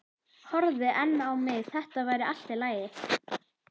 horfði enn á mig- þetta væri allt í lagi.